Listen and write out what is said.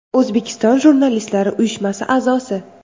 O‘zbekiston jurnalistlari uyushmasi a’zosi.